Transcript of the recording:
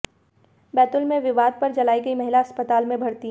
बैतूल में विवाद पर जलाई गई महिला अस्पताल में भर्ती